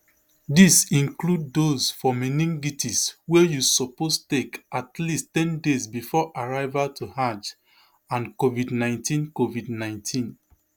dis include those for meningitis wey you suppose take at least ten days bifor arrival to hajj and covidnineteen covidnineteen